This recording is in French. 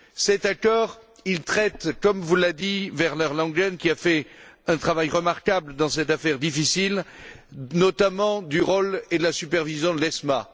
Cet accord traite, comme vous l'a dit Werner Langen, qui a fait un travail remarquable dans cette affaire difficile, notamment du rôle et de la supervision de l'ESMA.